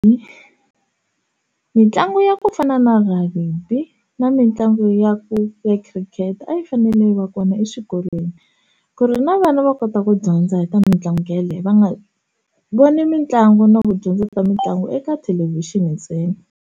mitlangu ya ku fana na rugby na mitlangu ya ku ya khirikete a yi fanele va kona exikolweni ku ri na vana va kota ku dyondza hi ta mitlangu ya leyo va nga voni mitlangu na ku dyondza ta mitlangu eka thelevhixini ntsena.